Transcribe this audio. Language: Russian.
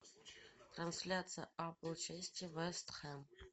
трансляция апл челси вест хэм